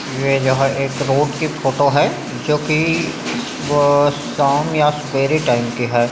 यह जहाँ एक रोड की फ़ोटो है जो की शाम या सुबेरे टाइम की है।